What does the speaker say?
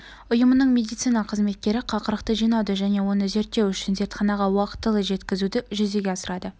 ұйымының медицина қызметкері қақырықты жинауды және оны зерттеу үшін зертханаға уақытылы жеткізуді жүзеге асырады